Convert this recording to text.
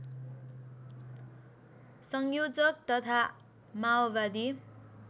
संयोजक तथा माओवादी